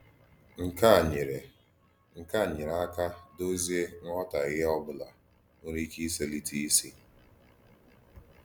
Nkè à nyèrè Nkè à nyèrè àkà dozíe nghòtàhìè ọ́bụ̀là nwèrè íké íselítè ísì.